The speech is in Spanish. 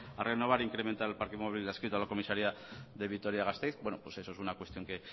vasco a renovar e incrementar el parque móvil adscrito a la comisaría de vitoria gasteiz bueno pues eso es una cuestión que